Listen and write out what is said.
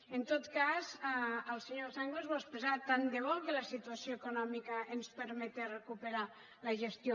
en tot cas el senyor sanglas ho ha expressat tant de bo que la situació econòmica ens permetés recuperar la gestió